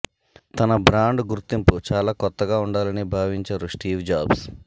తన బ్రాండ్ గుర్తింపు చాలా కొత్తగా ఉండాలని భావించారు స్టీవ్ జాబ్స్